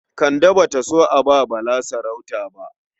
Kande ba ta so a ba Bala sarauta ba.